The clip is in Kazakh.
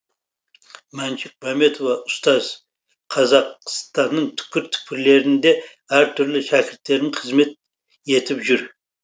мәншүк мәмбетова ұстаз қазақстанның түкпір түкпірлерінде әртүрлі шәкірттерім қызмет етіп жүр